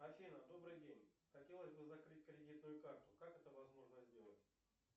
афина добрый день хотелось бы закрыть кредитную карту как это возможно сделать